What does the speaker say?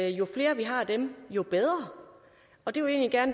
jo flere vi har af dem jo bedre